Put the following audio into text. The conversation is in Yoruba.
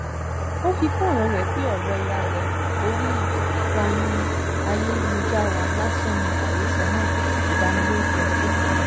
ó fi kún ọ̀rọ̀ rẹ̀ pé ọ̀rọ̀ ìhàlẹ̀ orí ìkànnì ayélujára lásán ni àhesọ náà ìbanilórúkọjẹ́ sì ni